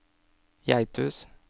Geithus